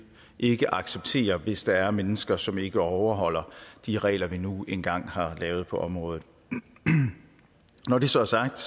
ikke acceptere det hvis der er mennesker som ikke overholder de regler vi nu engang har lavet på området når det så er sagt